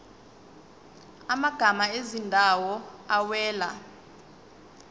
amagama ezindawo awela